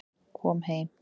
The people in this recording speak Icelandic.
Kom heim